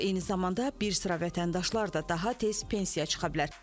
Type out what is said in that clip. Eyni zamanda bir sıra vətəndaşlar da daha tez pensiya çıxa bilər.